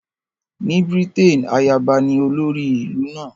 Ní Britain, ayaba ní olórí ìlú náà